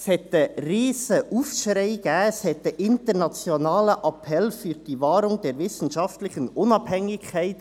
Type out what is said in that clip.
Es gab einen riesigen Aufschrei und einen «Internationalen Appell für die Wahrung der wissenschaftlichen Unabhängigkeit».